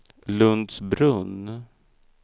Lundsbrunn